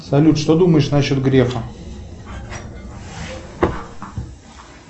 салют что думаешь на счет грефа